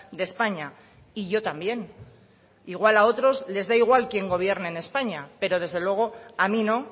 de españa y yo también igual a otros les da igual quién gobierne en españa pero desde luego a mí no